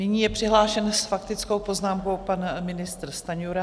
Nyní je přihlášen s faktickou poznámkou pan ministr Stanjura.